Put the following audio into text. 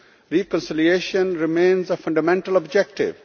Reconciliation remains a fundamental objective.